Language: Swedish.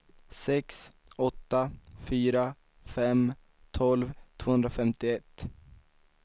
sex åtta fyra fem tolv tvåhundrafemtioett